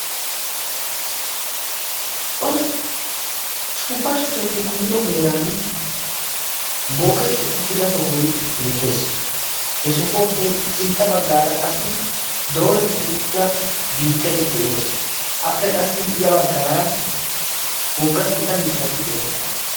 suuppa shuchchati kummido heeran booketti uttida sohoy beettees he sohuwaappe sintta baggaara qassi doorettidi uttida biittai de7ees appe qassi ya baggaara wogga gita mittati de7oosona